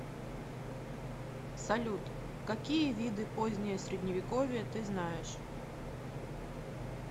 салют какие виды позднее средневековье ты знаешь